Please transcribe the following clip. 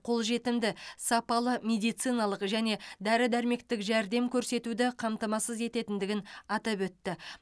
қолжетімді сапалы медициналық және дәрі дәрмектік жәрдем көрсетуді қамтамасыз ететіндігін атап өтті